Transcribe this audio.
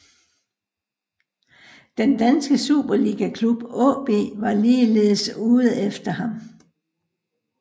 Den danske superligaklub AaB var ligeledes ude efter ham